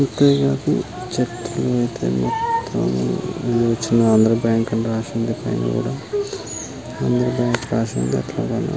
ఇక్కడ నాకు చెట్లు ఐతే మొత్తం ఆంధ్ర బ్యాంకు అని రాసి ఉంది పైన కూడా ఆంధ్ర బ్యాంకు రాసి ఉంది అట్లాగే --